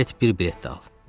Get, bir bilet də al.